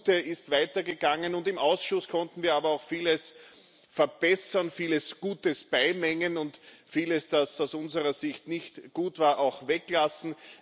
Das Gute ist weitergegangen, im Ausschuss konnten wir aber auch vieles verbessern, viel Gutes beimengen und vieles, das aus unserer Sicht nicht gut war, auch weglassen.